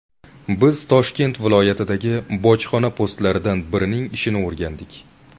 Biz Toshkent viloyatidagi bojxona postlaridan birining ishini o‘rgandik.